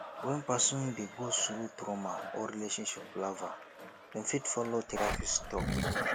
when person dey go through trauma or relationship palava dem fit follow therapist talk